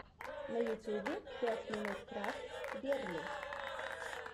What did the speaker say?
на ютюбе пять минут крафтс герли